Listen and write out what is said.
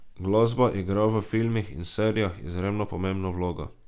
Glasba igra v filmih in serijah izredno pomembno vlogo.